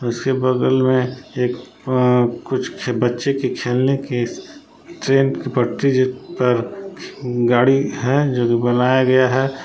उसके बगल में एक अ कुछ बच्चे के खेलने की ट्रेन की पटरी पर गाड़ी है जोकि बनाया गया है।